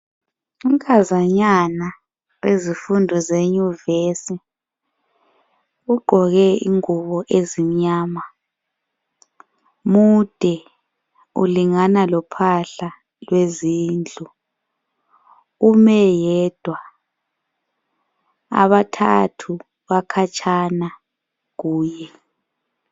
Unkazanyana wezifundo zeyunivesi, ugqoke ingubo ezimnyama mude ulingana lophahla lwezindlu. Ume yedwa, abathathu bakhatshana kuye.